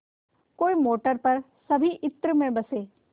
कोई मोटर पर सभी इत्र में बसे